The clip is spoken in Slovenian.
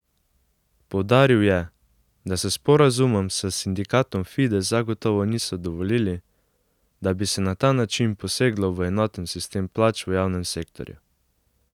Poudaril je, da s sporazumom s sindikatom Fides zagotovo niso dovolili, da bi se na ta način poseglo v enoten sistem plač v javnem sektorju.